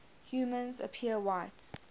humans appear white